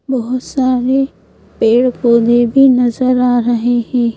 बहुत सारे पेड़ पौधे भी नजर आ रहे हैं।